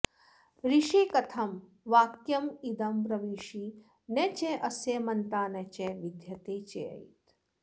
ऋषे कथं वाक्यमिदं ब्रवीषि न चास्य मन्ता न च विद्यते चेत्